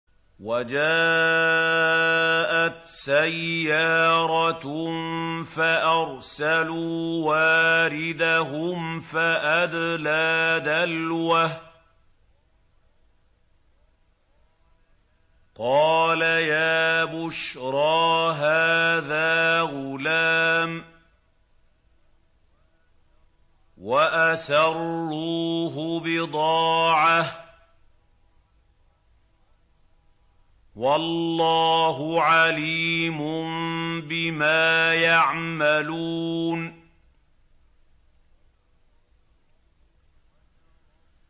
وَجَاءَتْ سَيَّارَةٌ فَأَرْسَلُوا وَارِدَهُمْ فَأَدْلَىٰ دَلْوَهُ ۖ قَالَ يَا بُشْرَىٰ هَٰذَا غُلَامٌ ۚ وَأَسَرُّوهُ بِضَاعَةً ۚ وَاللَّهُ عَلِيمٌ بِمَا يَعْمَلُونَ